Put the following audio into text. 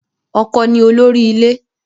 Ọkọ ni olórí ilé.